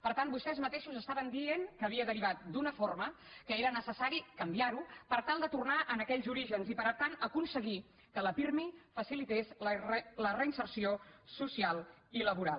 per tant vostès mateixos estaven dient que havia derivat d’una forma que era necessari canviar ho per tal de tornar a aquells orígens i per tant aconseguir que la pirmi facilités la reinserció social i laboral